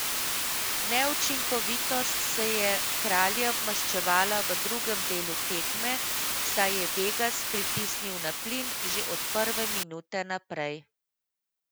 Neučinkovitost se je kraljem maščevala v drugem delu tekme, saj je Vegas pritisnil na plin že od prve minute naprej.